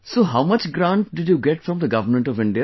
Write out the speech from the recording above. So how much grant did you get from the Government of India